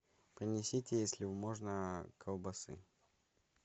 принесите если можно колбасы